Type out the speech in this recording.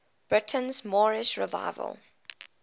britain's moorish revival